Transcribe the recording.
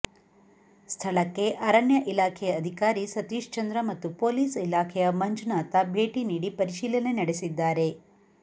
ಸ್ಥಳಕ್ಕೆ ಅರಣ್ಯ ಇಲಾಖೆ ಅಧಿಕಾರಿ ಸತೀಶಚಂದ್ರ ಮತ್ತು ಪೊಲೀಸ್ ಇಲಾಖೆಯ ಮಂಜುನಾಥ ಭೇಟಿ ನೀಡಿ ಪರಿಶೀಲನೆ ನಡೆಸಿದ್ದಾರೆ